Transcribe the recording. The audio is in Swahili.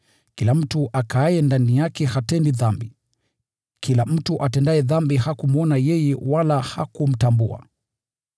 Kila mtu akaaye ndani yake hatendi dhambi. Kila mtu atendaye dhambi hakumwona yeye wala hakumtambua.